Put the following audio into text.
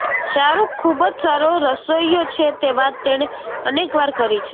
શાહરુખ ખૂબ જ સારો રસોઇયો છે તે વાત તેણે અનેકવાર કરી છે